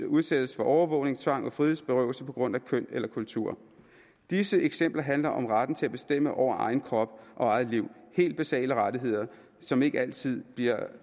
udsættes for overvågning tvang og frihedsberøvelse på grund af køn eller kultur disse eksempler handler om retten til at bestemme over egen krop og eget liv helt basale rettigheder som ikke altid bliver